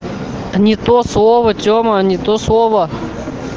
не то слово тема не то слово